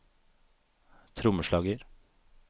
trommeslager